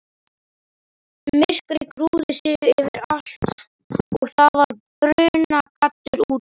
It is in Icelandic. Myrkrið grúfði sig yfir allt og það var brunagaddur úti.